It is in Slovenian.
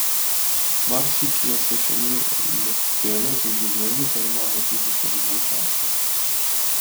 Marsikje se še ni letelo, v življenju pa imam tudi še dovolj časa.